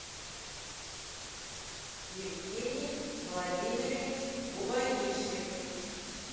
евгений владимирович губанищев